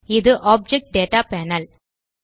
இது object data panel